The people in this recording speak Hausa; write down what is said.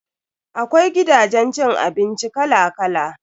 Akwai gidajen cin abinci kala kala.